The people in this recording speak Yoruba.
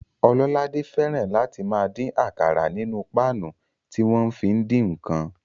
Ọlọ́ládé fẹ́ràn láti máa dín àkàrà nínú páànù tí wọ́n fi ń dín ǹkan